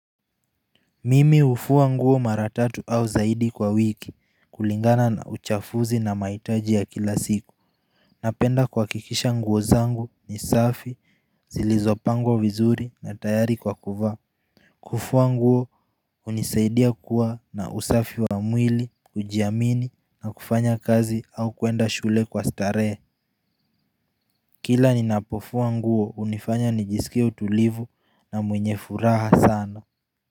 Mimi ufuwa nguo mara tatu au zaidi kwa wiki kulingana na uchafuzi na maitaji ya kila siku Napenda kwa kikisha nguo zangu ni safi zilizopango vizuri na tayari kwa kuva Kufuwa nguo unisaidia kuwa na usafi wa mwili kujiamini na kufanya kazi au kuenda shule kwa stare Kila ni napofuwa nguo unifanya nijisikia utulivu na mwenye furaha sana.